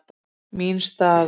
Mín staða?